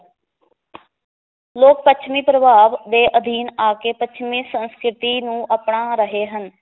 ਲੋਕ ਪੱਛਮੀ ਪ੍ਰਭਾਵ ਦੇ ਅਧੀਨ ਆ ਕੇ ਪੱਛਮੀ ਸੰਸਕ੍ਰਿਤੀ ਨੂੰ ਅਪਣਾ ਰਹੇ ਹਨ